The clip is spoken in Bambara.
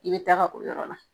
I be taga o yɔrɔ la